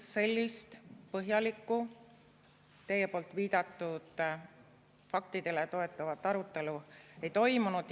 Ei, sellist põhjalikku teie viidatud faktidele toetuvat arutelu ei toimunud.